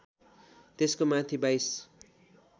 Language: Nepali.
त्यसको माथि बाइस